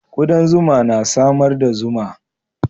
Kudan zuma na samar da zuma.